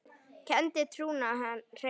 kenndi trúna hreina.